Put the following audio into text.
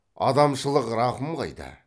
адамшылық рақым қайда